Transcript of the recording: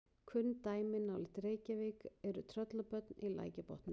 kunn dæmi nálægt reykjavík eru tröllabörn í lækjarbotnum